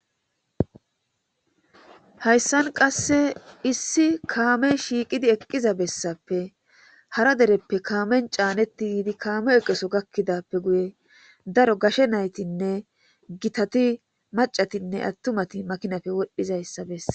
Hayssan qasse issi kaamey shiiqidi eqqiza bessappe hara dereppe kaame caanetti yiidi kaame eqo Soo gakkidaappe guye daro gashe naytinne gitati maccatinne attumati makinappe wodhizayssa bessees.